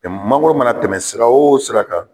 mangoro mana tɛmɛ sira o sira kan